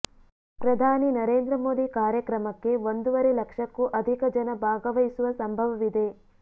ಪ್ರಧಾನಿ ನರೇಂದ್ರ ಮೋದಿ ಕಾರ್ಯಕ್ರಮಕ್ಕೆ ಒಂದೂವರೆ ಲಕ್ಷಕ್ಕೂ ಅಧಿಕ ಜನ ಭಾಗವಹಿಸುವ ಸಂಭವವಿದೆ